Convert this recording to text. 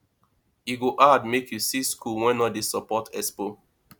e go hard make you see school wey no dey support expo